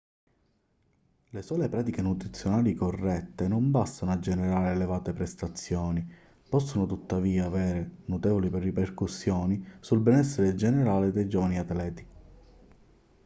le sole pratiche nutrizionali corrette non bastano a generare elevate prestazioni possono tuttavia avere notevoli ripercussioni sul benessere generale dei giovani atleti